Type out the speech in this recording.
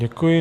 Děkuji.